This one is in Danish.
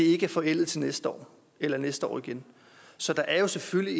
ikke er forældet til næste år eller næste år igen så der er jo selvfølgelig